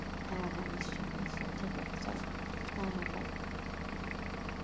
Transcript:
হ্যাঁ হ্যাঁ নিশ্চয় নিশ্চয় ঠিক আছে চল হ্যাঁ হ্যাঁ